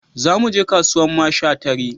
Za mu je kasuwan masha tare